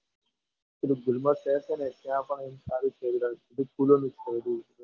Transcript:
પેલુ ગુલમર્ગ શહેર છે ને ત્યાં પણ સારું છે ત્યાં ફૂલોનું છે બધું